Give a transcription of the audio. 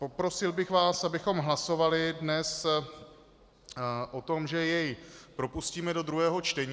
Poprosil bych vás, abychom hlasovali dnes o tom, že jej propustíme do druhého čtení.